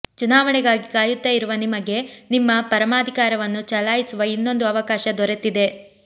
ಚುನಾವಣೆಗಾಗಿ ಕಾಯುತ್ತಾ ಇರುವ ನಿಮಗೆ ನಿಮ್ಮ ಪರಮಾಧಿಕಾರವನ್ನು ಚಲಾಯಿಸುವ ಇನ್ನೊಂದು ಅವಕಾಶ ದೊರೆತಿದೆ